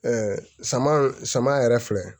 saman yɛrɛ filɛ